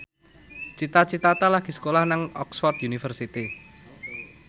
Cita Citata lagi sekolah nang Oxford university